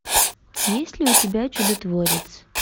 есть ли у тебя чудотворец